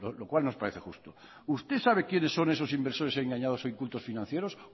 lo cual nos parece justo usted sabe quiénes son esos inversores engañados o incultos financieros